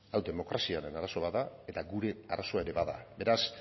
hau demokraziaren arazo bat da eta gure arazoa ere bada beraz